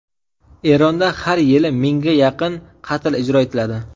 Eronda har yili mingga yaqin qatl ijro etiladi.